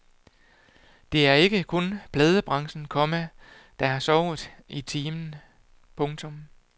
Det er ikke kun pladebranchen, komma der har sovet i timen. punktum